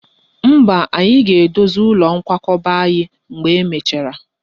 Mba, anyị ga-edozi ụlọ nkwakọba mgbe e mechara